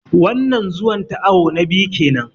Wannan Zuwan ta awu na biyu kenan